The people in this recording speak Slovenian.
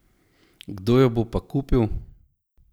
Kdo jo bo pa kupil?